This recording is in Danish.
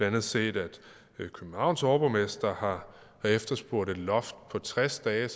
andet set at københavns overborgmester har efterspurgt et loft på tres dage